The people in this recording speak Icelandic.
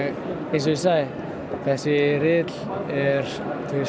eins og ég sagði þessi riðill er